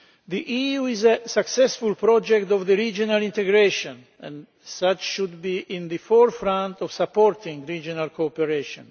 The EU is a successful project of regional integration and as such should be at the forefront of supporting regional cooperation.